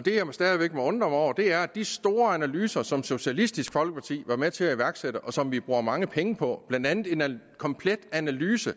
det jeg stadig væk må undre mig over er de store analyser som socialistisk folkeparti har været med til at iværksætte og som vi bruger mange penge på blandt andet en komplet analyse